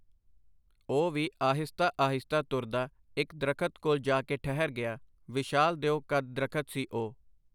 ਉਹ ਵੀ ਆਹਿਸਤਾ ਆਹਿਸਤਾ ਤੁਰਦਾ ਇੱਕ ਦਰਖ਼ਤ ਕੋਲ ਜਾ ਕੇ ਠਹਿਰ ਗਿਆ , ਵਿਸ਼ਾਲ ਦਿਓ ਕੱਦ ਦਰੱਖਤ ਸੀ ਓਹ .